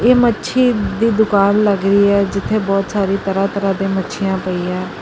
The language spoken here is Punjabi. ਮੱਛੀ ਦੀ ਦੁਕਾਨ ਲਗ ਰਹੀ ਹੈ ਜਿੱਥੇ ਬਹੁਤ ਸਾਰੀ ਤਰਹਾਂ-ਤਰਹਾਂ ਦੀ ਮੱਛੀਆਂ ਪਈਆਂ।